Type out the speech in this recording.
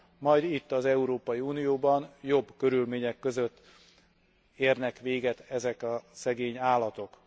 Majd itt az Európai Unióban jobb körülmények között érnek véget ezek a szegény állatok.